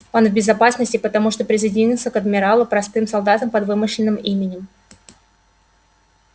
он в безопасности потому что присоединился к адмиралу простым солдатом под вымышленным именем